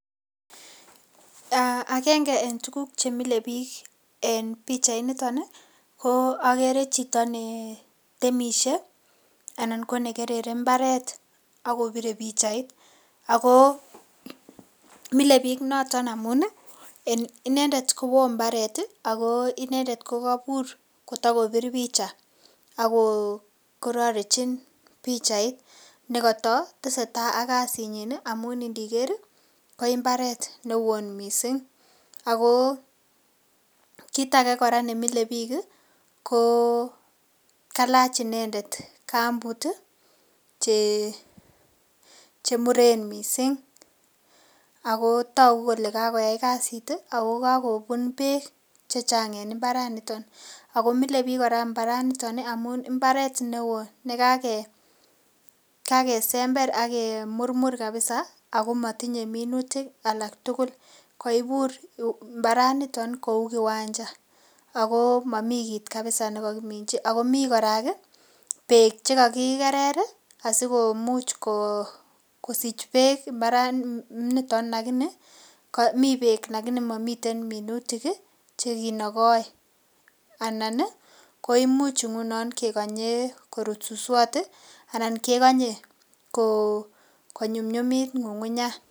Agenge en tuguk che mile biik en pichianito ko agere chito ne temishe anan ko nekerere mbaret ak kobire pichait, ago mile biik noton amun en inendet kowoo mbaret ago inendet ko kobur kotokopir picha ak kororechin pichait nekoto tesetai ak kasinyin amun indiker ko mbaret newoo mising ago kit age kora ko kalach inendet kambut che muren mising ago togu kole kagoyai kasit ago kagobun beek che chang en mbaranito, ago mile biik kora mbaranito amun mbaret ne woo ne kagesember ak kemurmur kapisa ago motinye minutik alak tugul koibur mbaranito kou kiwanja ago momi kit kapisa ne kokiminchi ago mi kora beek che kagikerer asikomuch kosich beek mbaraniton ak ineemi beek lakini momiten minutik che kinokoi anan koimuch ngunon kekonye korut suswot anan kekonye konyumnyumit ng'ung'unyat.